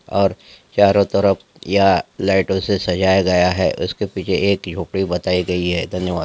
और चारो तरफ यहाँ लाईटो से सजाया गया है उसके पीछे एक झोपड़ी बताई गइ है धन्यवाद।